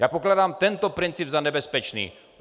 Já pokládám tento princip za nebezpečný!